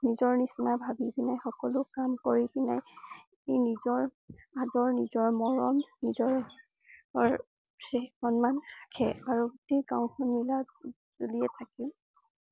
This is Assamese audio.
নিজৰ নিছিনা ভাৱি পিনে সকলো কাম কৰি কিনে ই নিজৰ আদিৰ, নিজৰ মৰম, নিজৰ~ৰ সন্মান ৰাখে আৰু গোটেই গাঁওখন মিলি~জুলি থাকে